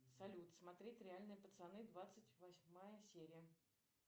салют смотреть реальные пацаны двадцать восьмая серия